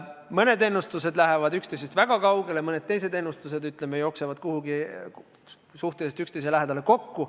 Mõned ennustused lähevad üksteisest väga kaugele, mõned teised jooksevad kuhugi suhteliselt üksteise lähedale kokku.